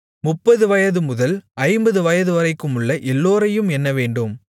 முப்பது வயதுமுதல் ஐம்பது வயதுவரைக்குமுள்ள எல்லோரையும் எண்ணவேண்டும்